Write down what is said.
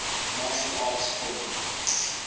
martial arts film